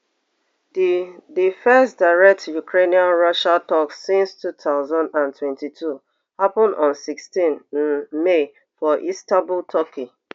di di first direct ukrainian russian talks since two thousand and twenty-two happen on sixteen um may for istanbul turkey